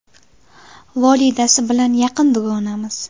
Volidasi bilan yaqin dugonamiz.